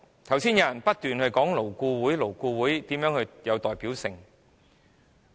剛才有議員不斷強調勞顧會的代表性。